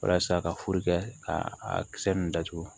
Walasa ka furu kɛ ka a kisɛ ninnu datugu